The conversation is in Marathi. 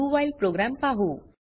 व्हाईल प्रोग्राम पाहु